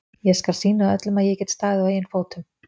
ÉG SKAL SÝNA ÖLLUM AÐ ÉG GET STAÐIÐ Á EIGIN FÓTUM.